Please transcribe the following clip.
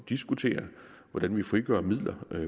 diskutere hvordan vi frigør midler